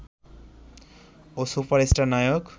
ও superstar নায়ক